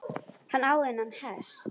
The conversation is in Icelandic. Hann á þennan hest.